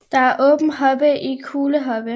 Der er åbne hobe og kuglehobe